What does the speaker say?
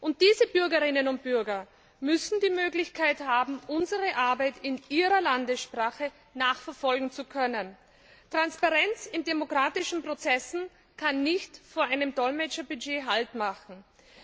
Und diese Bürgerinnen und Bürger müssen die Möglichkeit haben, unsere Arbeit in ihrer Landessprache nachverfolgen zu können. Transparenz in demokratischen Prozessen darf nicht an einem Dolmetscherbudget scheitern.